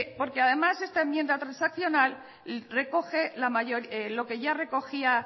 porque además esta enmienda transaccional recoge lo que ya recogía